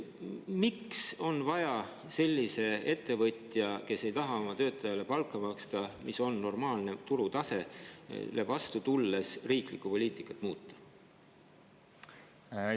Miks on vaja sellisele ettevõtjale, kes ei taha oma töötajatele maksta normaalset turu tasemel palka, vastu tulla ja riiklikku poliitikat muuta?